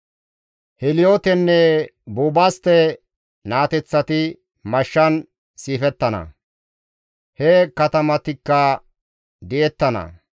Heeliyootenne Buubastte naateththati mashshan siifettana; he katamatikka di7ettana.